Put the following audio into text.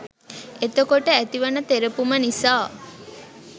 එතකොට ඇතිවන තෙරපුම නිසා